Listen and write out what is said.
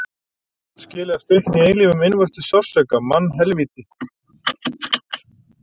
Þú átt skilið að stikna í eilífum innvortis sársauka, mannhelvíti.